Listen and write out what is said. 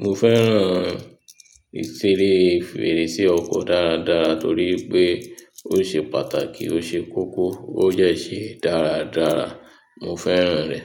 mo fẹ́ràn ìṣeré fèrèsé ọkọ dára dára torí pé ó ṣe pàtàkì, ó ṣe kókó, ó dẹ̀ ṣe dára dára. Mo fẹ́ràn rẹ̀